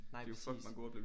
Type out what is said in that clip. Nej præcis